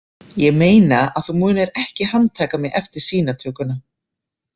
Ég meina að þú munir ekki handtaka mig eftir sýnatökuna?